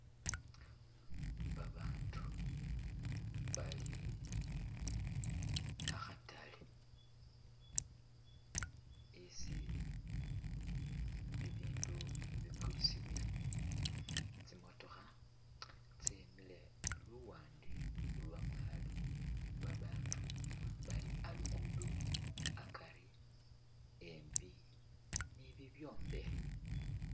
Ba bandu bali akhatale isi bibindu bikulisibwila, tsimotokha tsimile luwande lwamwalo, babandu bali alugudo akari embi nibibyombekhe.